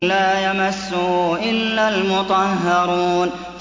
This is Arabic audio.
لَّا يَمَسُّهُ إِلَّا الْمُطَهَّرُونَ